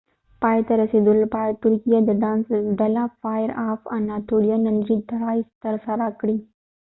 پای ته رسیدو لپاره د ترکیه د ډانس ډله فائیر آف اناتولیا نندره ټرائ ترسره کړه